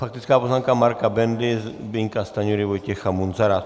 Faktická poznámka Marka Bendy, Zbyňka Stanjury, Vojtěcha Munzara.